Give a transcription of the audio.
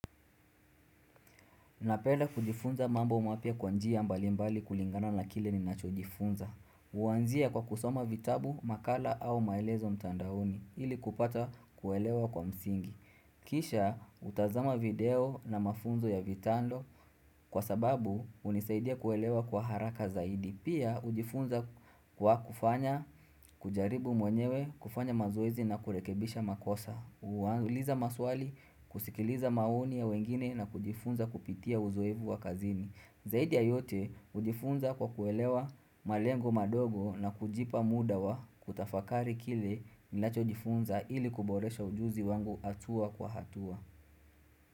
Napenda kujifunza mambo mpya kwanjia mbalimbali kulingana na kile ni nacho jifunza. Uwanzia kwa kusoma vitabu, makala au maelezo mtandaoni ili kupata kuelewa kwa msingi. Kisha utazama video na mafunzo ya vitando kwa sababu unisaidia kuelewa kwa haraka zaidi. Pia ujifunza kwa kufanya, kujaribu mwenyewe, kufanya mazoezi na kurekebisha makosa. Uanguliza maswali, kusikiliza maoni ya wengine na kujifunza kupitia uzoevu wa kazini Zaidi ya yote, ujifunza kwa kuelewa malengo madogo na kujipa muda wa kutafakari kile ninacho jifunza ili kuboresha ujuzi wangu atua kwa hatua.